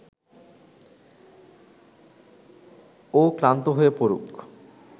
ও ক্লান্ত হয়ে পড়ুক